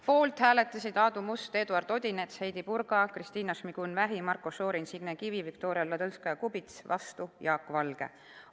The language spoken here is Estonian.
Poolt hääletasid Aadu Must, Eduard Odinets, Heidy Purga, Kristina Šmigun-Vähi, Marko Šorin, Signe Kivi, Viktoria Ladõnskaja-Kubits, vastu oli Jaak Valge.